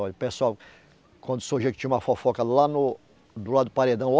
Olhe, pessoal... Quando surgia que tinha uma fofoca lá no... Do lado do paredão.